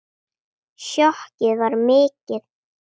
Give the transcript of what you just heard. Sjokkið var mikið.